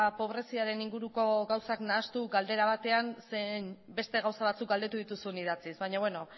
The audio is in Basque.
pobreziaren inguruko gauzak nahastu galdera batean zeren beste gauza batzuk galdetu dituzu idatziz baina beno